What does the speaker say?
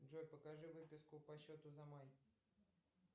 джой покажи выписку по счету за май